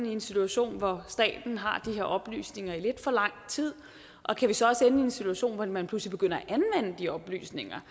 i en situation hvor staten har de her oplysninger i lidt for lang tid og kan vi så også en situation hvor man pludselig begynder at anvende de oplysninger